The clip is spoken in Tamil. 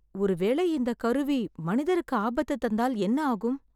ஒரு வேளை இந்தக் கருவி மனிதருக்கு ஆபத்து தந்தால் என்ன ஆகும் ?